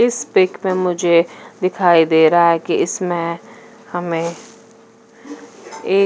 इस पिक में मुझे दिखाई दे रहा कि इसमें हमे एक--